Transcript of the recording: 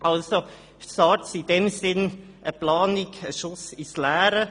In diesem Sinne ist SARZ als Planung ein Schuss ins Leere.